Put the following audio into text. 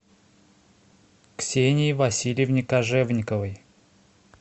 ксении васильевне кожевниковой